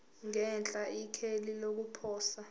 ngenhla ikheli lokuposa